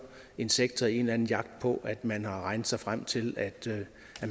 en sektor i en eller anden jagt på at man har regnet sig frem til at